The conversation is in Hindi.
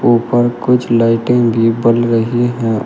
उपर कुछ लाइटिंग भी पल रही हैं।